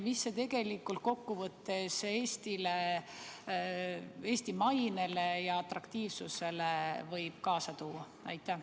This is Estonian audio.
Mida see tegelikult kokkuvõttes Eestile, Eesti mainele ja atraktiivsusele võib kaasa tuua?